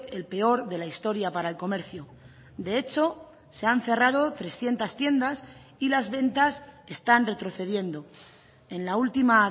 el peor de la historia para el comercio de hecho se han cerrado trescientos tiendas y las ventas están retrocediendo en la última